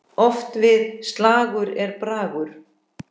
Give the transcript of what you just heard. Oft við slag er bragur.